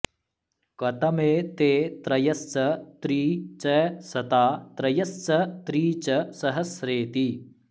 कतमे ते त्रयश्च त्री च शता त्रयश्च त्री च सहस्रेति